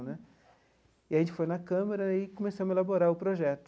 E a gente foi na Câmara e começamos a elaborar o projeto.